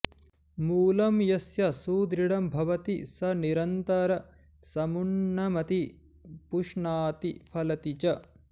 मूलं यस्य सुदृढं भवति स निरन्तर समुन्नमति पुष्णाति फलति च